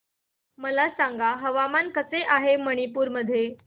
मला सांगा हवामान कसे आहे मणिपूर मध्ये